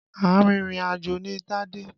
Arìnrìn àjò ni Tádé.